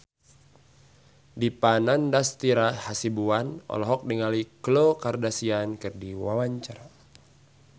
Dipa Nandastyra Hasibuan olohok ningali Khloe Kardashian keur diwawancara